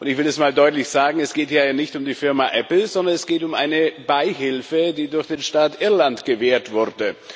Ich will es mal deutlich sagen Es geht ja hier nicht um die Firma Apple, sondern es geht um eine Beihilfe, die durch den Staat Irland gewährt wurde.